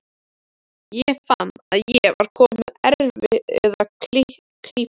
Ég fann að ég var kominn í erfiða klípu.